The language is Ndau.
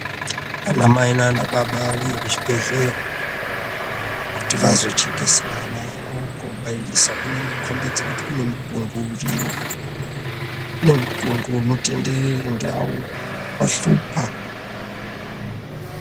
Ana mai nanababa auye kuzvibhedhlera kuti vazochekesa ana awo kobairisa kunokombidze kuti kune mutungo uriyo kune mutungo unondenderera ndau wahlupa.